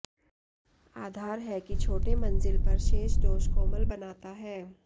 आधार है कि छोटे मंजिल पर शेष दोष कोमल बनाता है